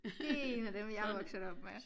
Det en af dem jeg er vokset op med